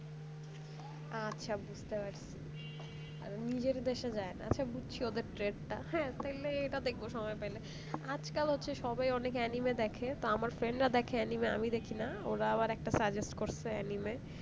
আচ্ছা বুঝতে পারছি আর নিজের দেশে যায়না আচ্ছা বুঝছি ওদের trait তা হ্যাঁ তাইলে এটা দেখবো সময় পাইলে আজ কাল হচ্ছে সবাই অনেক anime দেখে তো আমার friend রা দেখে anime আমি দেখনা ওরা আবার একটা suggest করছে anime